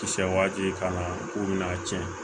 Kisɛ waati ka na k'u bɛna tiɲɛ